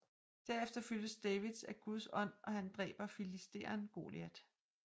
Derefter fyldes David af Guds Ånd og han dræber filisteren Goliat